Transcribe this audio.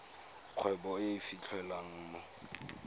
kgwebo e e fitlhelwang mo